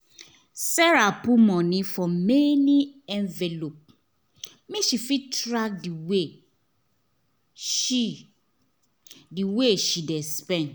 sarah put money for many envelope make she fit track the way she the way she dey spend